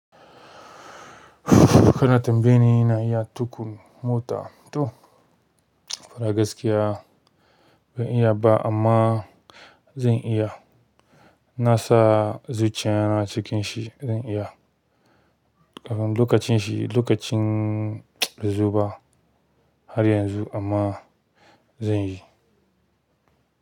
Kana tambaye ni ina iya tuƙa mota to fara gaskiya ban iya ba amma zan iya. Na sa zuciya na cikin shi zan iya. Lokacin shi lokacin baizoba har yanzu amma zan yi.